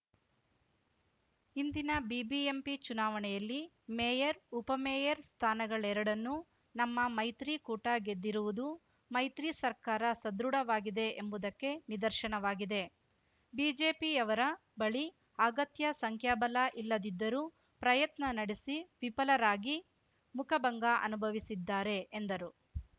ಇಂದಿನ ಬಿಬಿಎಂಪಿ ಚುನಾವಣೆಯಲ್ಲಿ ಮೇಯರ್‌ ಉಪಮೇಯರ್‌ ಸ್ಥಾನಗಳೆರಡನ್ನೂ ನಮ್ಮ ಮೈತ್ರಿ ಕೂಟ ಗೆದ್ದಿರುವುದು ಮೈತ್ರಿ ಸರ್ಕಾರ ಸದೃಢವಾಗಿದೆ ಎಂಬುದಕ್ಕೆ ನಿದರ್ಶನವಾಗಿದೆ ಬಿಜೆಪಿಯವರ ಬಳಿ ಅಗತ್ಯ ಸಂಖ್ಯಾಬಲ ಇಲ್ಲದಿದ್ದರೂ ಪ್ರಯತ್ನ ನಡೆಸಿ ವಿಫಲರಾಗಿ ಮುಖಭಂಗ ಅನುಭವಿಸಿದ್ದಾರೆ ಎಂದರು